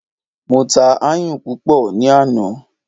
Mo ta ayùn púpọ̀ ní àná.